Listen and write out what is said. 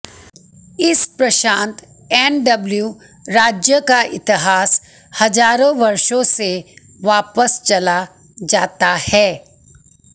इस प्रशांत एनडब्ल्यू राज्य का इतिहास हजारों वर्षों से वापस चला जाता है